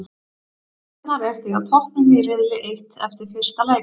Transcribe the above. Stjarnan er því á toppnum í riðli eitt eftir fyrsta leik.